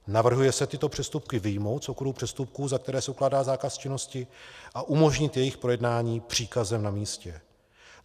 Navrhuje se tyto přestupky vyjmout z okruhu přestupků, za které se ukládá zákaz činnosti, a umožnit jejich projednání příkazem na místě.